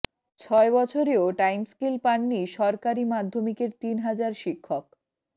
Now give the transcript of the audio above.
ছয় বছরেও টাইমস্কেল পাননি সরকারি মাধ্যমিকের তিন হাজার শিক্ষক